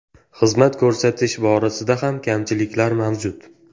Xizmat ko‘rsatish borasida ham kamchiliklar mavjud.